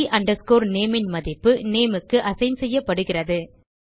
the nameன் மதிப்பு nameக்கு அசைன் செய்யப்படுகிறது